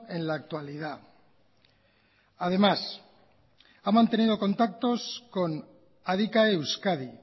en la actualidad además ha mantenido contactos con adicae euskadi